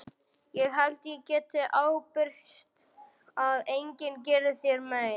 Ég held ég geti ábyrgst að enginn geri þér mein.